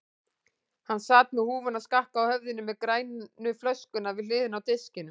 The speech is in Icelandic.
Hann sat með húfuna skakka á höfðinu með grænu flöskuna við hliðina á disknum.